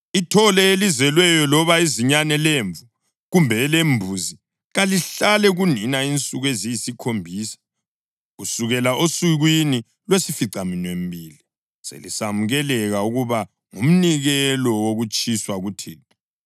“Ithole elizelweyo loba izinyane lemvu, kumbe elembuzi kalihlale kunina insuku eziyisikhombisa. Kusukela osukwini lwesificaminwembili selisamukeleka ukuba ngumnikelo wokutshiswa kuThixo.